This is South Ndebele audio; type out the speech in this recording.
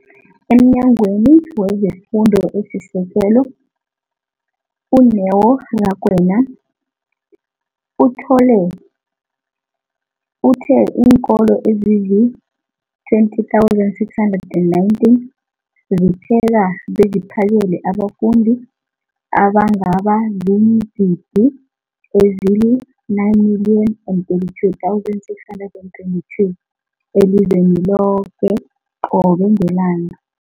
EmNyangweni wezeFundo esiSekelo, u-Neo Rakwena, uthe iinkolo ezizi-20 619 zipheka beziphakele abafundi abangaba ziingidi ezili-9 032 622 elizweni loke qobe ngelanga.